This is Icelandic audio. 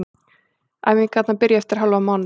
Æfingarnar byrja eftir hálfan mánuð.